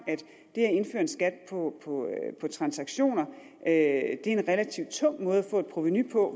det at indføre en skat på transaktioner er en relativt tung måde at få et provenu på